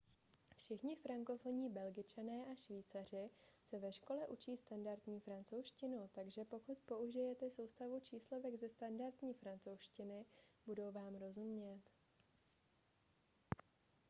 všichni frankofonní belgičané a švýcaři se ve škole učí standardní francouzštinu takže pokud použijete soustavu číslovek ze standardní francouzštiny budou vám rozumět